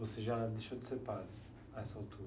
Você já deixou de ser padre a essa altura?